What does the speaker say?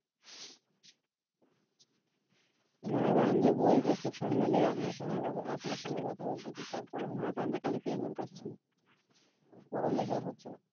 মনে করেন যে বই বের করে সামনে লিয়ে আপনার আপনার সঙ্গে কথা বলতেসি তারপর ও মনে করেন যে খালি page উল্টাচ্ছি পড়া লেখা আর হচ্ছে না